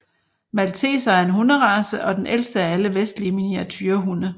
Malteser er en hunderace og den ældste af alle vestlige miniaturehunde